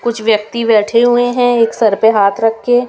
कुछ व्यक्ति बैठे हुए हैं एक सर पे हाथ रख के--